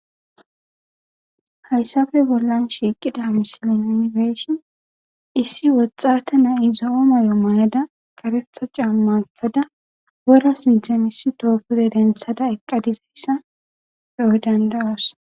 Hayssappe bolln shiiqida misilen nuuni be7ishin issi woxxaathe na7ay zo7o mayo mayada kareththa caamma woththada wora sinththeni issi thoho pude denththada eqqada dizayssa be7o dandda7oos.